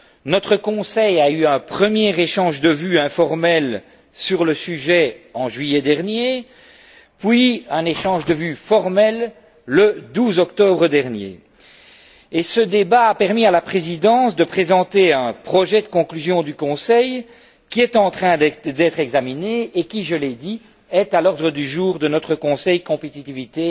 Notre Conseil a eu un premier échange de vues informel sur le sujet en juillet dernier, puis un échange de vues formel le 12 octobre dernier, et ce débat a permis à la Présidence de présenter un projet de conclusions du Conseil qui est en train d'être examiné et qui, je l'ai dit, est à l'ordre du jour de notre Conseil Compétitivité